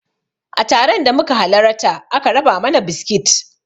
A taron da muka halarata aka raba mana biskit